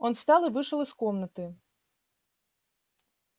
он встал и вышел из комнаты